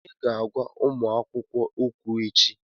Onye ga-agwa ụmụ akwụkwọ okwu echi?